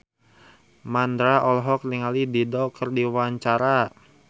Mandra olohok ningali Dido keur diwawancara